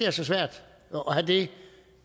er så svært at have det